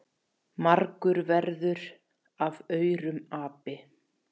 margur verður af aurum api.